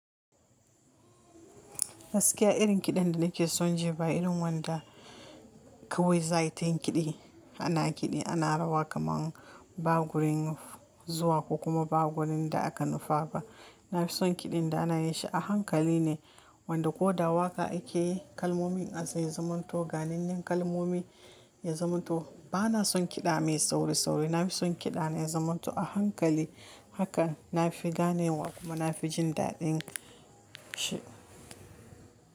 Gaskiya irin kiɗan da nake son ji ba irin wanda kawai za yi ta yin kiɗi. A na kiɗi ana rawa kamar ba gurin zuwa ko kuma ba gurin da aka nufa ba. Na fi son kiɗin da ana yi shi a hankali ne wanda ko da waƙa ake yi kalmomin a zai zamanto ganin yan kalmomi ya zamanto. Ba na son kiɗa mai sauri sauri. Na fi son kiɗa na zamanto a hankali haka na fi gane wa kuma na fi jin daɗin shi.